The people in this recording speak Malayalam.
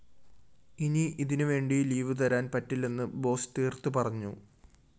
ഇനി ഇതിനുവേണ്ടി ലീവുതരാന്‍ പറ്റില്ലെന്ന് ബോസ്‌ തീര്‍ത്തുപറഞ്ഞു